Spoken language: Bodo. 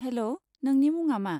हेल', नोंनि मुङा मा?